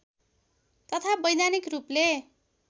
तथा वैधानिक रूपले